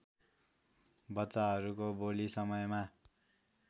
बच्चाहरूको बोली समयमा